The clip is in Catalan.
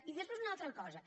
i després una altra cosa